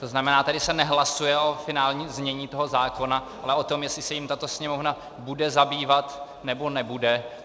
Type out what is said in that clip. To znamená, tady se nehlasuje o finálním znění toho zákona, ale o tom, jestli se jím tato Sněmovna bude zabývat, nebo nebude.